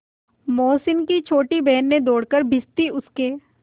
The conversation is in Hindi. मोहसिन की छोटी बहन ने दौड़कर भिश्ती उसके